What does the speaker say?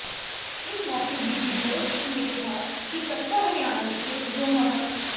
ਇਸ ਮੌਕੇ ਬੀਬੀ ਜੋਸ਼ ਨੇ ਕਿਹਾ ਕਿ ਕਸਬਾ ਹਰਿਆਣਾ ਵਿਖੇ ਜੋ ਮਹ